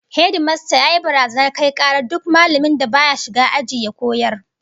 Hedimasta yayi barazanar kai karar duk mallamin da baya shiga aji ya koyar